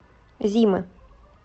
зимы